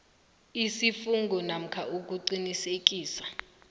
isifungo namkha ukuqinisekisa